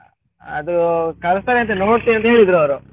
ಅದು ಕಳಿಸ್ತೇನೆ ಅಂತ ನೋಡ್ತೇನೆ ಅಂತ ಹೇಳಿದ್ರು ಅವರು.